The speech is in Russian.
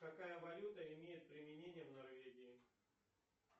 какая валюта имеет применение в норвегии